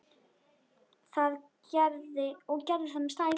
Og gerði það með stæl.